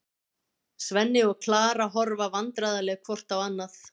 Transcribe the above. Svenni og Klara horfa vandræðaleg hvort á annað.